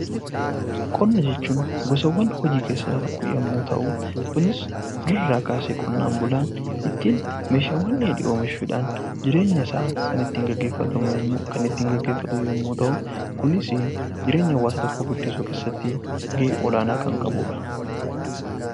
Qonna jechuun gosawwan hojii keessaa isa tokko yemmuu ta'u kunis durirraa kaasee qonnaan bulaan ittiin meeshaawwan dheedhii oomishuudhaan jireenyasaa kan ittiin geggeeffatamu kan ittiin geggeeffatu yemmuu ta'u kunisii jireenya hawaasummaa tokko guddisuu keessatti ga'ee olaanaa kan qabuudha.